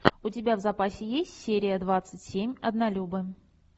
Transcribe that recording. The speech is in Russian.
у тебя в запасе есть серия двадцать семь однолюбы